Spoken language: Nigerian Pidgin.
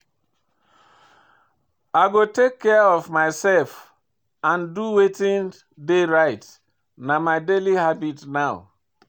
I go take care of myself and do wetin dey right, na my daily habit now.